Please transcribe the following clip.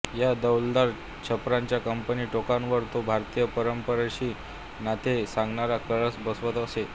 या डौलदार छपरांच्या कमानी टोकांवर तो भारतीय परंपरेशी नाते सांगणारा कळस बसवत असे